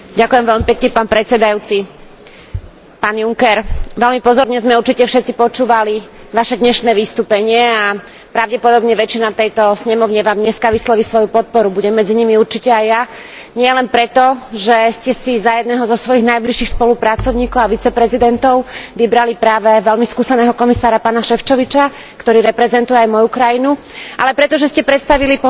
Pán Juncker, veľmi pozorne sme určite všetci počúvali Vaše dnešné vystúpenie a pravdepodobne väčšina tejto snemovne Vám dneska vysloví svoju podporu, budem medzi nimi určite aj ja, nielen preto, že ste si za jedného zo svojich najbližších spolupracovníkov a viceprezidentov vybrali práve veľmi skúseného komisára pána Šefčoviča, ktorý reprezentuje aj moju krajinu, ale pretože ste predstavili pomerne